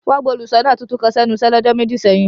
Wọn gba óluṣọna titun kan sẹnu iṣe ni ọjọ meji seyin.